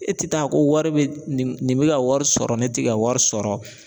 E tɛ taa ko wari bɛ nin bɛ ka wari sɔrɔ ne tɛ ka wari sɔrɔ